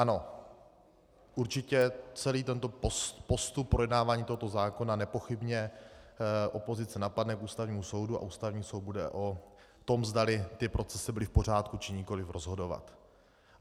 Ano, určitě, celý tento postup projednávání tohoto zákona nepochybně opozice napadne k Ústavnímu soudu a Ústavní soud bude o tom, zda ty procesy byly v pořádku, či nikoliv, rozhodovat.